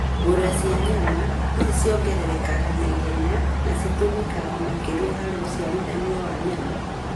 ngũrũwe cia nyama: ici ciongererekaga naihenya na citũmĩkaga makĩria harĩ ũciarithania wa nyama.